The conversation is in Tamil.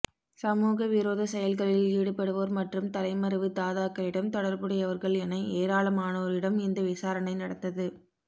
சமூக விரோத செயல்களில் ஈடுபடுவோர் மற்றும் தலைமறைவு தாதாக்களிடம் தொடர்புடையவர்கள் என ஏராளமானோரிடம் இந்த விசாரணை நடந்தது